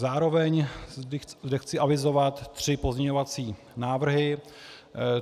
Zároveň zde chci avizovat tři pozměňovací návrhy.